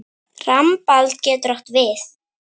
Rambald getur átt við